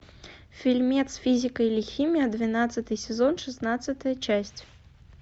фильмец физика или химия двенадцатый сезон шестнадцатая часть